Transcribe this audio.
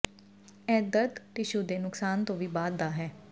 ਇਹ ਦਰਦ ਟਿਸ਼ੂ ਦੇ ਨੁਕਸਾਨ ਤੋਂ ਵੀ ਬਾਅਦ ਦਾ ਹੈ